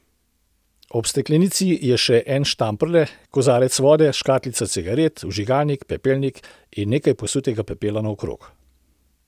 Ob steklenici je še en štamprle, kozarec vode, škatlica cigaret, vžigalnik, pepelnik in nekaj posutega pepela naokrog.